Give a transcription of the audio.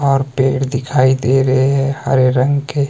और पेड़ दिखाई दे रहे है हरे रंग के।